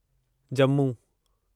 Jammu